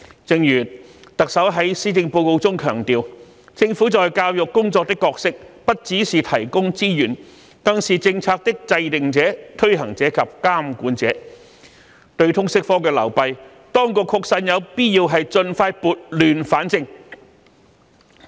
正如特首在施政報告中強調，"政府在教育工作的角色不只是提供資源，更是政策的制訂者、推行者及監管者"，對於通識科的流弊，當局確實有必要盡快撥亂反正。